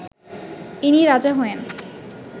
ইনি রাজা হয়েন